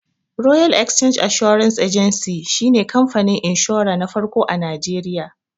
Royal Exchange Assurance Agency shi ne kamfanin inshura na farko a Najeriya